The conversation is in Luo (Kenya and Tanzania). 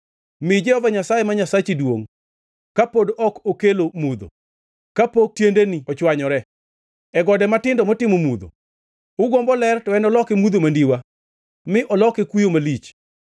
Mi Jehova Nyasaye, ma Nyasachi duongʼ ka pod ok okelo mudho, kapok tiendeni ochwanyore, e gode matindo motimo mudho. Ugombo ler, to enoloke mudho mandiwa mi oloke kuyo malich.